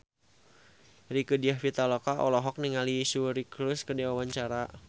Rieke Diah Pitaloka olohok ningali Suri Cruise keur diwawancara